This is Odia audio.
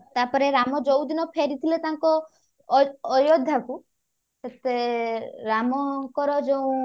ତାପରେ ରାମ ଯଉଦିନ ଫେରିଥିଲେ ତାଙ୍କ ଅ ଅୟୋଧ୍ୟା କୁ ସେତେ ରାମଙ୍କର ଯଉ